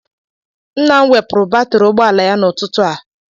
Nna m wepụrụ batrị ụgbọala ya n'ụtụtụ a.